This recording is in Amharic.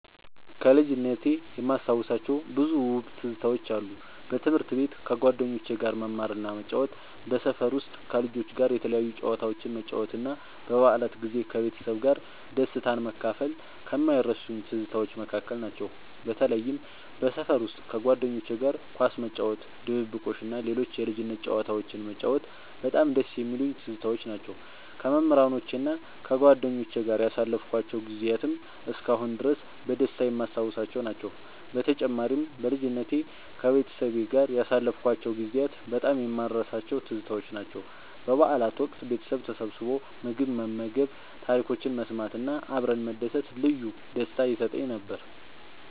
ከልጅነቴ የማስታውሳቸው ብዙ ውብ ትዝታዎች አሉ። በትምህርት ቤት ከጓደኞቼ ጋር መማርና መጫወት፣ በሰፈር ውስጥ ከልጆች ጋር የተለያዩ ጨዋታዎችን መጫወት እና በበዓላት ጊዜ ከቤተሰቤ ጋር ደስታን መካፈል ከማይረሱኝ ትዝታዎች መካከል ናቸው። በተለይም በሰፈር ውስጥ ከጓደኞቼ ጋር ኳስ መጫወት፣ ድብብቆሽ እና ሌሎች የልጅነት ጨዋታዎችን መጫወት በጣም ደስ የሚሉኝ ትዝታዎች ናቸው። ከመምህራኖቼና ከጓደኞቼ ጋር ያሳለፍኳቸው ጊዜያትም እስካሁን ድረስ በደስታ የማስታውሳቸው ናቸው። በተጨማሪም፣ በልጅነቴ ከቤተሰቤ ጋር ያሳለፍኳቸው ጊዜያት በጣም የማልረሳቸው ትዝታዎች ናቸው። በበዓላት ወቅት ቤተሰብ ተሰብስቦ ምግብ መመገብ፣ ታሪኮችን መሰማት እና አብረን መደሰት ልዩ ደስታ ይሰጠኝ ነበር።